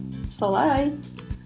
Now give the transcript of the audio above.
солай